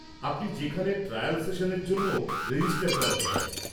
আপনি সেখানে ট্রায়াল সেশানের জন্যও রেজিস্টার করাতে পারেন।